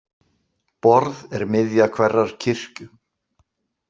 Borð er miðja hverrar kirkju.